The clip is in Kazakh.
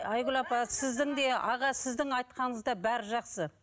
айгүл апа сіздің де аға сіздің айтқаныңыз да бәрі жақсы